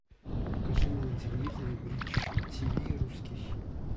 покажи мне на телевизоре бридж тв русский хит